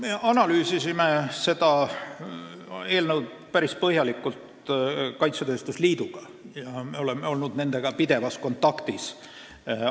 Me analüüsisime seda eelnõu päris põhjalikult koos kaitsetööstuse liiduga ja me oleme nendega pidevas kontaktis olnud.